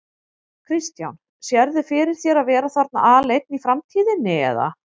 Kristján: Sérðu fyrir þér að vera þarna aleinn í framtíðinni eða?